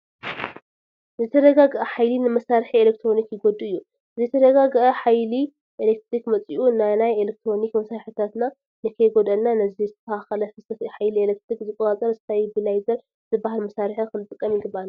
ዘይተረጋግአ ሓይሊ ንመሳርሒ ኤለክትሮኒክ ይጐድእ እዩ፡፡ ዘይተረጋገአ ሓይሊ ኤለክትሪክ መፂኡ ንናይ ኤለክትሮኒክ መሳርሕታትና ንከይጐድአልና ነዚ ዘይተስተኻኸለ ፍሰት ሓይሊ ኤለክትሪክ ዝቆፃፀር ስታቢላይዘር ዝበሃል መሳርሒ ክንጥቀም ይግብአና፡፡